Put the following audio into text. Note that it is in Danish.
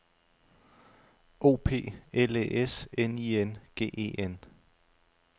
O P L Æ S N I N G E N